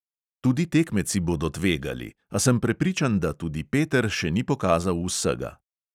Tudi tekmeci bodo tvegali, a sem prepričan, da tudi peter še ni pokazal vsega.